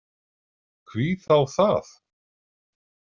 Hví þá það?